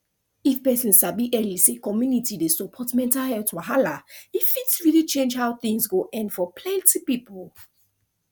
if person sabi early say community support dey help mental wahala e fit really change how things go end for plenty people